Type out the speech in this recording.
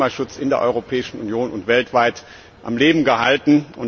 Du hast den Klimaschutz in der Europäischen Union und weltweit am Leben gehalten.